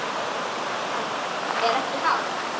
Hann: Er ekki hált?